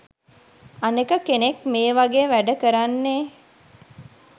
අනෙක කෙනෙක් මේ වගේ වැඩ කරන්නේ